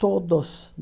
Todos.